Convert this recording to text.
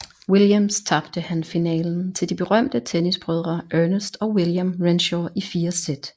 Williams tabte han finalen til de berømte tennisbrødre Ernest og William Renshaw i fire sæt